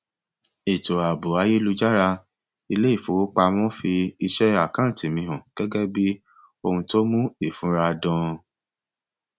ètò ààbò ayélújára iléifowópamọ fi iṣẹ àkáǹtì mi hàn gẹgẹ bí ohun tó mu ìfura dan